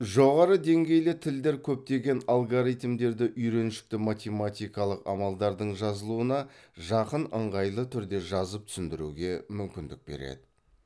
жоғары деңгейлі тілдер көптеген алгоритмдерді үйреншікті математикалық амалдардың жазылуына жақын ыңғайлы түрде жазып түсіндіруге мүмкіндік береді